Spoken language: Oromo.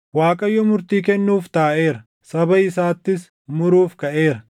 Waaqayyo murtii kennuuf taaʼeera; saba isaattis muruuf kaʼeera.